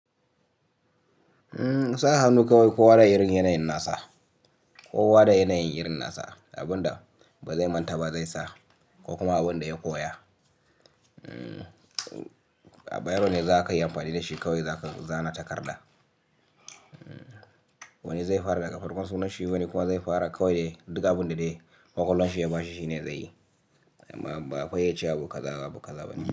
Sa hannu kawai ko wa da irin yanayin nasa, ko wa da yanayin yirin nasa, abunda ba zai manta ba zai sa ko kuma abin da ya koya. A bayarone za ka yi amfani da shi kawai zaka zana takarda. Wani zai fara daga farkon sunan shi, wani kuwa zai fara kawai duka abin da dai ƙwaƙwalwan shi ya ba shi shine zai yi. Ba a fayyace abu kaza, abu kaza ba ne.